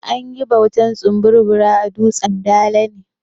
An yi bautar tsumburbura a dutsan dala ne.